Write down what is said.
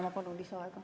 Ma palun lisaaega.